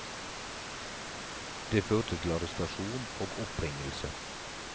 Det førte til arrestasjon og oppbringelse.